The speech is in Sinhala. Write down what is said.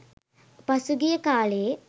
පසු ගිය කාලයේ